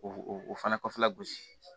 O o o fana kɔfɛ gosi